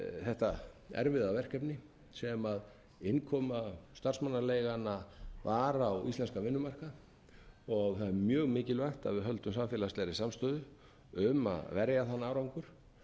þetta erfiða verkefni sem innkoma starfsmannaleigna var á íslenskan vinnumarkað og það er mjög mikilvægt að við höldum samfélagslegri samstöðu um að verja þann árangur